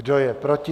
Kdo je proti?